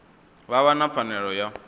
vha vha na pfanelo ya